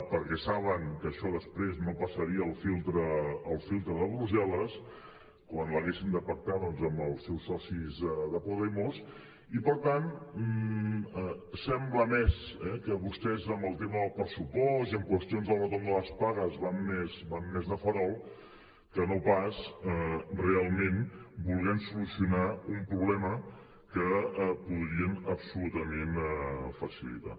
perquè saben que això no passaria el filtre el filtre de brussel·les quan l’haguessin de pactar doncs amb els seus socis de podemos i per tant sembla més que vostès amb el tema del pressupost i en qüestions del retorn de les pagues van més van més de farol que no pas realment volent solucionar un problema que podrien absolutament facilitar